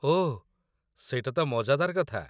ଓଃ, ସେଇଟା ତ ମଜାଦାର କଥା।